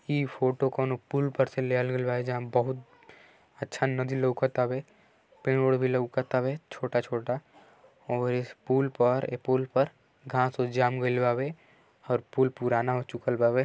इ फोटो कौनो पुल पर से लिहल गईल बा जहां बहुत अच्छा नदी लउकतावे पड़े ओड़ भी लउकतावे छोटा छोटा और इस पुल पर ऐ पुल पर घास ओस जामल गइल बावे और पूल पुराना हो चुकल बावे।